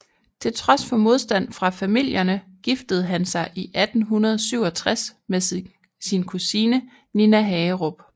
Til trods for modstand fra familierne giftede han sig i 1867 med sin kusine Nina Hagerup